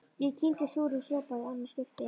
Ég kyngi súrum sopa í annað skipti.